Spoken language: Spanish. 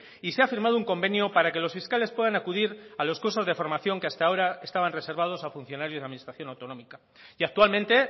y se ha firmado un convenio para que los fiscales puedan acudir a los cursos de formación que hasta ahora estaban reservados a funcionarios de la administración autonómica y actualmente